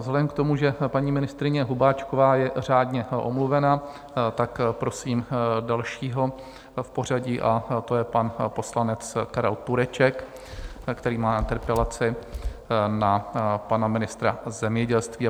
Vzhledem k tomu, že paní ministryně Hubáčková je řádně omluvena, tak prosím dalšího v pořadí, a to je pan poslanec Karel Tureček, který má interpelaci na pana ministra zemědělství.